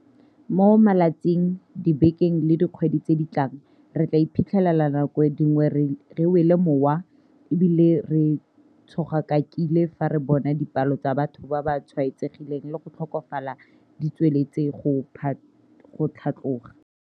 Mo malatsing, dibekeng le dikgweding tse di tlang, re tla iphitlhela nako dingwe re wele mowa e bile re tshogakakile fa re bona dipalo tsa batho ba ba tshwaetsegileng le go tlhokafala di tsweletse go tlhatloga.